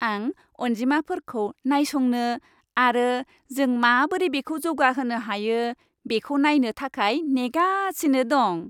आं अनजिमाफोरखौ नायसंनो आरो जों माबोरै बेखौ जौगाहोनो हायो, बेखौ नायनो थाखाय नेगासिनो दं।